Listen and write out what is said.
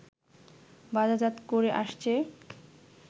বাজারজাত করে আসছে